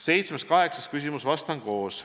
Seitsmes ja kaheksas küsimus, neile vastan koos.